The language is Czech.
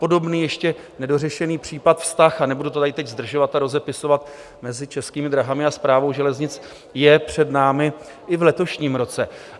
Podobný ještě nedořešený případ, vztah - a nebudu to tady teď zdržovat a rozepisovat - mezi Českými drahami a Správou železnic je před námi i v letošním roce.